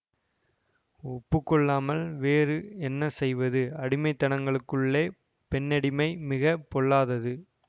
ஒப்பு கொள்ளாமல் வேறு என்ன செய்வது அடிமைத்தனங்களுக்குள்ளே பெண்ணடிமை மிக பொல்லாதது